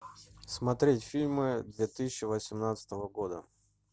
смотреть фильмы две тысячи восемнадцатого года